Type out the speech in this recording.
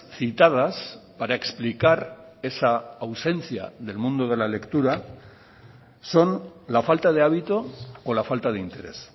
citadas para explicar esa ausencia del mundo de la lectura son la falta de hábito o la falta de interés